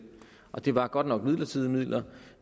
det var godt nok midlertidige midler